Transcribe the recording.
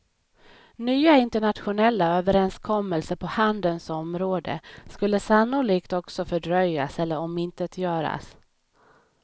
Nya internationella överenskommelser på handelns område skulle sannolikt också fördröjas eller omintetgöras.